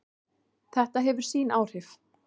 Þetta hefur sín áhrif.